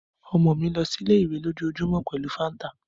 Ọmọ mi lọ si ile-iwe lojoojumọ pẹlu fanta